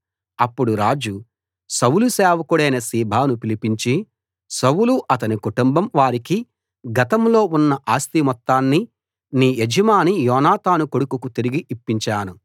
అప్పుడు రాజు సౌలు సేవకుడైన సీబాను పిలిపించి సౌలు అతని కుటుంబం వారికి గతంలో ఉన్న ఆస్తి మొత్తాన్ని నీ యజమాని యోనాతాను కొడుకుకు తిరిగి ఇప్పించాను